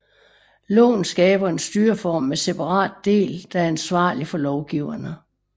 Loven skaber en styreform med separat del der er ansvarlig for lovgiverne